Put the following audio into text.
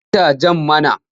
Ba ta jan mana!